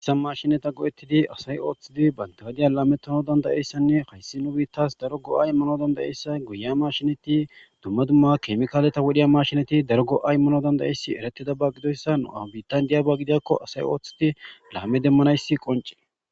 issa mashinata go7ettidi asay ooththidi bantugadiya laametono dandayeyssanne hayssi nu biittas daro go7ay mano dandayeyssa guya ma shinati dumma dumma keemikaaleta wodhiya mashinati daro go7ay mano dandayeyssi eretida ba gidoyssa nu7a bitan diyyaba gidiakko asay ooththiti laame demmanayssi qonce